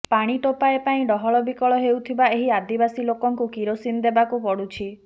ପାଣି ଟୋପାଏ ପାଇଁ ଡହଳ ବିକଳ ହେଉଥିବା ଏହି ଆଦିବାସୀ ଲୋକଙ୍କୁ କିରୋସିନ ଦେବାକୁ ପଡ଼ୁଛି